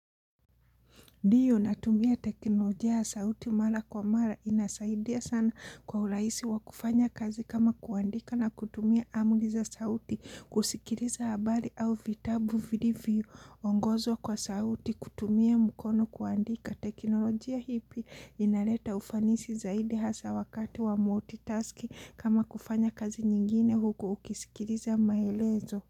Ndio natumia teknolojia ya sauti mara kwa mara, inasaidia sana kwa urahisi wa kufanya kazi kama kuandika na kutumia amri iza sauti, kusikiriza habari au vitabu vilivyo ongozwa kwa sauti kutumia mkono kuandika, teknolojia hii pia inaleta ufanisi zaidi hasa wakati wa multi-tasking kama kufanya kazi nyingine huku ukisikiliza maelezo.